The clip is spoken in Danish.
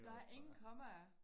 Der er ingen kommaer